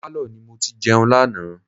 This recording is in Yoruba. Pálọ̀ ni mo ti jẹun lánàá.